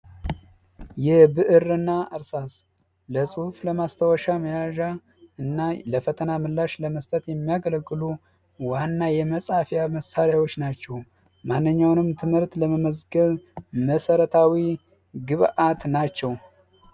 የብዕር እና እርሳስ ለፅሁፍ ለማስታወሻ መያዣ እና ለፈቲምላሽ ለመስጠት የሚያገለግሉ ዋና የመፃፊያ መሳሪያዎች ናቸው። ማንኛውንም ትምህርት ለመመዝገብ መሰረታዊ ግብዐት ናቸው።